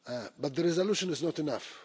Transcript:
But the resolution is not enough.